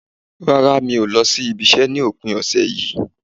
Rárá, mi ò lọ ibi-iṣẹ́ ní òpin ọ̀sẹ̀ yìí